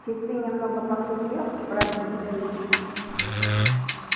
часы немного похрипев пробили десять